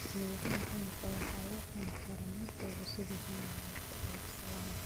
Midhaha canabka waxaa la cuni karaa marka ay cusub yihiin ama marka ay bislaan.